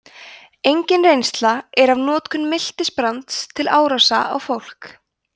engin reynsla er af notkun miltisbrands til árása á fólk